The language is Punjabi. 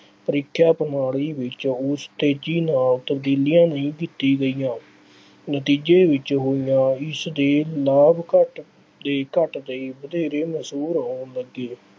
ਪ੍ਰੀਖਿਆ ਪ੍ਰਣਾਲੀ ਵਿੱਚ ਉਸ ਤੇਜ਼ੀ ਨਾਲ ਤਬਦੀਲੀਆਂ ਨਹੀਂ ਕੀਤੀ ਗਈਆਂ। ਨਤੀਜੇ ਵਿੱਚ ਹੋਈਆਂ ਇਸਦੇ ਲਾਭ ਘੱਟਦੇ ਘੱਟਦੇ ਵਧੇਰੇ ਮਸ਼ਹੂਰ ਹੋਣ ਲੱਗੇ।